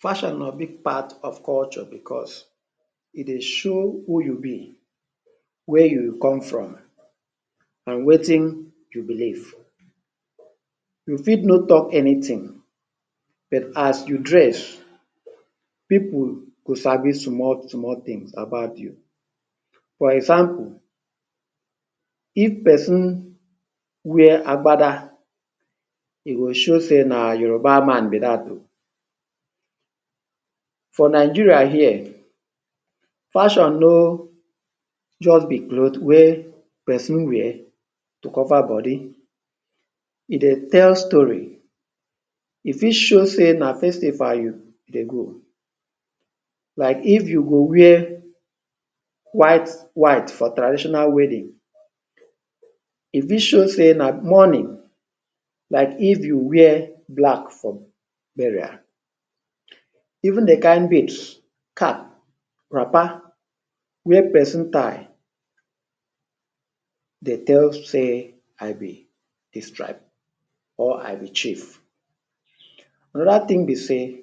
Fashion na big part of culture because e dey show who you be, where you come from and wetin you believe. You fit no talk anything, but as you dress, pipu go sabi small small things about you. For example, if pesin wear agbada, e go show sey na Yoruba man be dat oh. For Nigeria here, fashion no just be cloth wey pesin wear to cover body. E dey tell story. E fit show sey na festive you you go. Like if you go wear white white for traditional wedding. E fit show sey na mourning, like if you wear black for burial. Even the kind beards, cap, wrapper wey pesin tie dey tell say, I be dis tribe or I be chief. Another thing be sey,